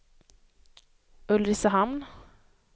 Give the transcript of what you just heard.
Ulricehamn